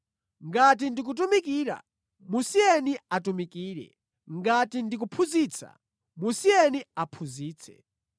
Ngati ndi kutumikira, musiyeni atumikire. Ngati ndi kuphunzitsa, musiyeni aphunzitse.